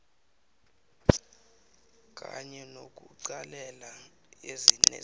kanye nokuqalelela nezinye